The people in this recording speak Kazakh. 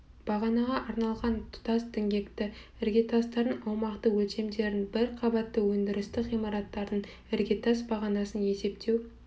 бағанаға арналған тұтас діңгекті іргетастардың аумақты өлшемдерін бір қабатты өндірістік ғимараттардың іргетас бағанасын есептеу